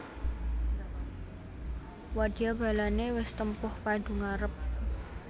Wadya balané wis tempuh padu ngarep